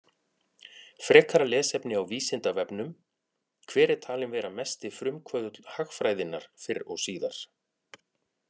Frekara lesefni á Vísindavefnum: Hver er talinn vera mesti frumkvöðull hagfræðinnar fyrr og síðar?